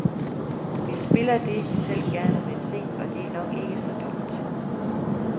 Vi spiller det, vi selv gerne vil se, og det er nok ikke så dumt.